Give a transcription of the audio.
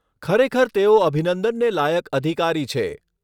ખરેખર તેઓ અભિનંદનને લાયક અધિકારી છે.